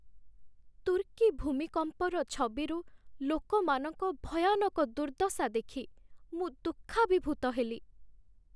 ତୁର୍କୀ ଭୂମିକମ୍ପର ଛବିରୁ ଲୋକମାନଙ୍କ ଭୟାନକ ଦୁର୍ଦ୍ଦଶା ଦେଖି ମୁଁ ଦୁଃଖାଭିଭୂତ ହେଲି ।